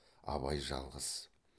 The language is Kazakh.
абай жалғыз